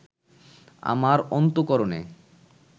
আমার অন্তঃকরণে